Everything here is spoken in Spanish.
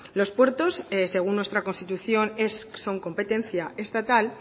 los puertos según nuestra constitución son competencia estatal